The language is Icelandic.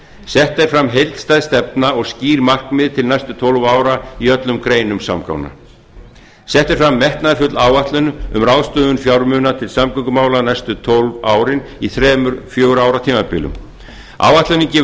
sett er fram heildstæð stefna og skýr markmið til næstu tólf ára í öllum greinum samgangna sett er fram metnaðarfull áætlun um ráðstöfun fjármuna til samgöngumála næstu tólf árin í þremur fjögurra ára tímabilum áætlunin gefur